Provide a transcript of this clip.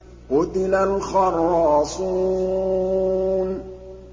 قُتِلَ الْخَرَّاصُونَ